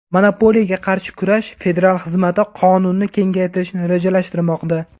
Monopoliyaga qarshi kurash federal xizmati qonunni kengaytirishni rejalashtirmoqda.